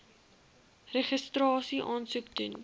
registrasie aansoek doen